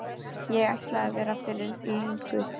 Ég ætlaði að vera fyrir löngu.